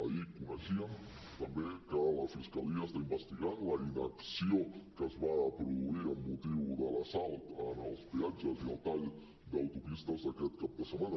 ahir coneixíem també que la fiscalia està investigant la inacció que es va produir amb motiu de l’assalt en els peatges i els talls d’autopistes d’aquest cap de setmana